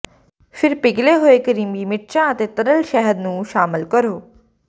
ਫਿਰ ਪਿਘਲੇ ਹੋਏ ਕਰੀਮੀ ਮਿਰਚਾਂ ਅਤੇ ਤਰਲ ਸ਼ਹਿਦ ਨੂੰ ਸ਼ਾਮਲ ਕਰੋ